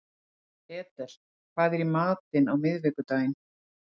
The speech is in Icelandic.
Edel, hvað er í matinn á miðvikudaginn?